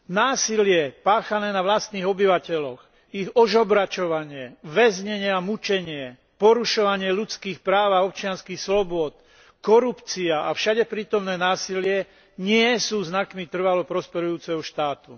Násilie páchané na vlastných obyvateľoch, ich ožobračovanie, väznenie a mučenie, porušovanie ľudských práv a občianskych slobôd, korupcia a všade prítomné násilie nie sú znakmi trvalo prosperujúceho štátu.